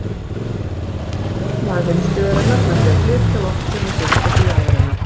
Væri hægt að bjarga efnahag heimsbyggðarinnar með því að flytja loftstein úr gulli til jarðarinnar?